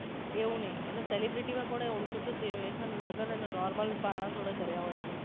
એવુ નહિ એટલે celebrity માં કોને ઓળખો છો જે હેને લગન અને normal માણાહ જોડે કર્યા હોય એને